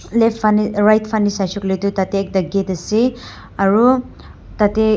left faneh uhh right faneh saishae koile tu tate ekta gate ase aro tate--